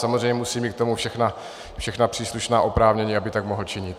Samozřejmě musí mít k tomu všechna příslušná oprávnění, aby tak mohl činit.